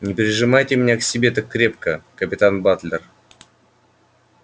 не прижимайте меня к себе так крепко капитан батлер